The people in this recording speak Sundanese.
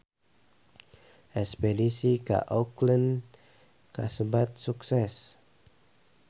Espedisi ka Auckland kasebat sukses